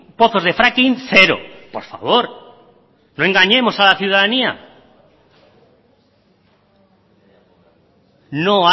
pozos de fracking cero por favor no engañemos a la ciudadanía no